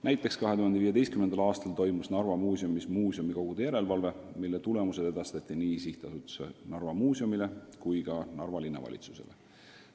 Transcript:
Näiteks 2015. aastal toimus Narva Muuseumis muuseumikogu järelevalve menetlus, mille tulemused edastati nii SA-le Narva Muuseum kui ka Narva Linnavalitsusele.